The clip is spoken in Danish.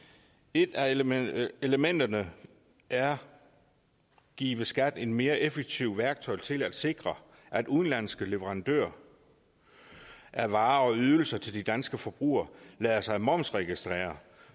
et af elementerne elementerne er at give skat et mere effektivt værktøj til at sikre at udenlandske leverandører af varer og ydelser til de danske forbrugere lader sig momsregistrere